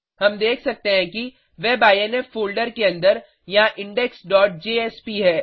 हम देख सकते हैं कि web आईएनफ फोल्डर के अंदर यहाँ इंडेक्स डॉट जेएसपी है